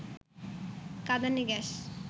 কাঁদানে gas